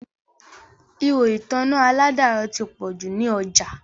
Ihò ìtanná àládàrọ̀ ti pọ̀ jù ní ọjà